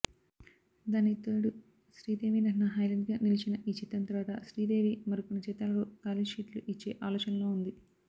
దానికితోడు శ్రీదేవి నటన హైలెట్గా నిలిచిన ఈ చిత్రం తరువాత శ్రీదేవి మరికొన్ని చిత్రాలకు కాల్షీట్లుఇచ్చే ఆలోచనలో ఉంది